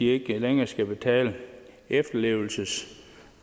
ikke længere skal betale en efterlevelsesydelse